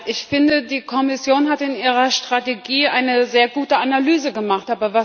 Ich finde, die Kommission hat in ihrer Strategie eine sehr gute Analyse gemacht.